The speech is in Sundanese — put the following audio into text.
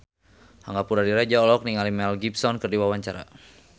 Angga Puradiredja olohok ningali Mel Gibson keur diwawancara